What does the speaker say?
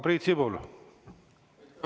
Priit Sibul, palun!